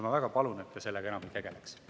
Ma väga palun, et te sellega enam ei tegeleks.